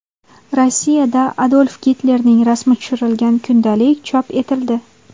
Rossiyada Adolf Gitlerning rasmi tushirilgan kundalik chop etildi.